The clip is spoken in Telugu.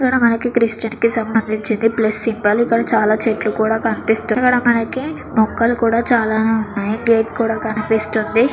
ఇక్కడ మనకి క్రిస్టియన్ కి సంబందించింది ప్లేస్ సింబల్ ఇక్కడ చాలా చెట్లుకూడా కనిపిస్తు ఇక్కడ మన్నకి మొక్కలు కూడా చాననే ఉన్నాయి గెట్ కూడా కనిపిస్తుంది.